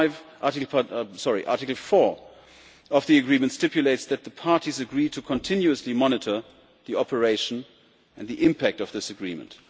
Article 4 of the Agreement stipulates that the parties agree to continuously monitor the operation and the impact of this agreement.